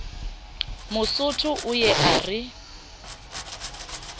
mosotho o ye a re